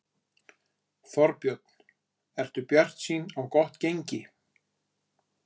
Þorbjörn: Ertu bjartsýn á gott gengi?